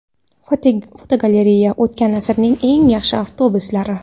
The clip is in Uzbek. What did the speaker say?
Fotogalereya: O‘tgan asrning eng yaxshi avtobuslari.